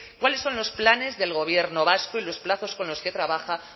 cuáles son los planes del gobierno vasco y los plazos con los que trabaja